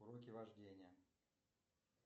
уроки вождения